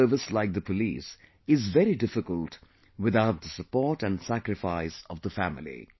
A tough service like the police is very difficult without the support and sacrifice of the family